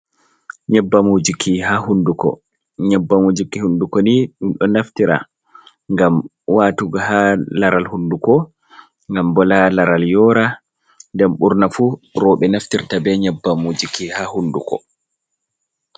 Nyebbam wujuki ha hunduko. Nyebbam wujuki hunduko ni ɗum ɗo naftira ngam watugo ha laral hunduko ngam bo ta laral yora nden burna fu roɓe naftirta be nyeɓɓam wujuki ha hunduko.